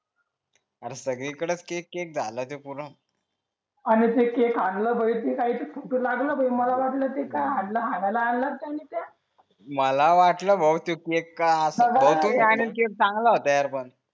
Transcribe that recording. अरे सगळी कडेच केक केक झालं ते पुरा आणि ते केक आणला लागल मला वाटला आणलात त्यांनी त्या मला वाटल भाऊ ते केक ते बहुतेक ते केक चांगला होता यार पण